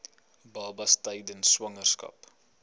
babas tydens swangerskap